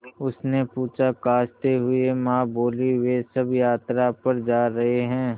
उसने पूछा खाँसते हुए माँ बोलीं वे सब यात्रा पर जा रहे हैं